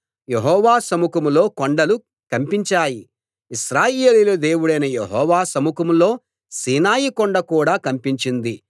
యెహోవా సముఖంలో కొండలు కంపించాయి ఇశ్రాయేలీయుల దేవుడైన యెహోవా సముఖంలో సీనాయి కొండ కూడా కంపించింది